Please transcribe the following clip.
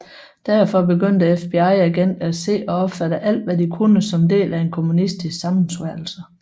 Derfor begyndte FBI agenter at se og opfatte alt hvad de kunne som del af en kommunistisk sammensværgelse